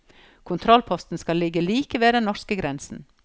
Kontrollposten skal ligge like ved den norske grensen.